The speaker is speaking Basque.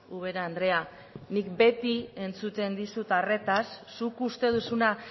ubera andrea nik beti entzuten dizut arretaz zuk uste duzuna